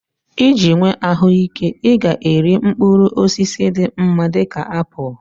Iji nwee ahụike, ị ga-eri mkpụrụ osisi dị mma dị ka apụl.